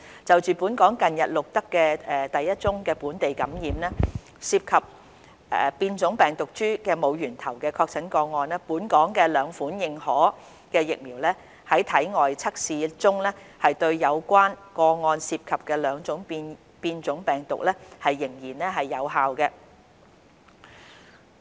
就本港近日錄得的第一宗於本地感染，涉及變種病毒株的無源頭確診個案，本港兩款認可疫苗在體外測試中對有關個案涉及的兩種變種病毒依然有效。